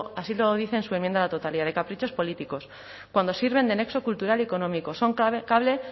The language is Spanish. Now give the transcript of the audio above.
dice en su enmienda a la totalidad de caprichos políticos cuando sirven de nexo cultural y económico son